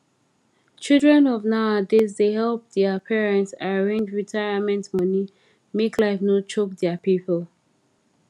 children of nowadays da help dia parents arrange retirement money make life no choke dia people